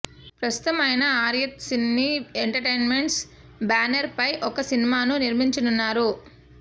ప్రస్తుతం ఆయన Aryat cine entertainments బ్యానర్పై ఒక సినిమాను నిర్మించనున్నారు